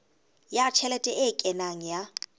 ya tjhelete e kenang ya